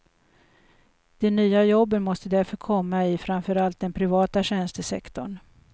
De nya jobben måste därför komma i framför allt den privata tjänstesektorn.